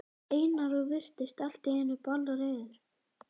Einar og virtist allt í einu bálreiður.